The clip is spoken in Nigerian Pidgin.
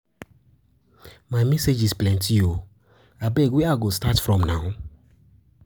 My messages plenty oo, abeg where I go start from now?